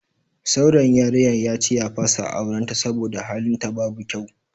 Saurayin yarinyar yace ya fasa auren ta saboda halin ta babu kyau.